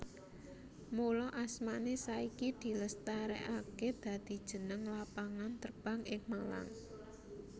Mula asmané saiki dilestarèkaké dadi jeneng lapangan terbang ing Malang